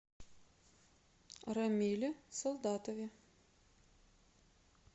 рамиле солдатове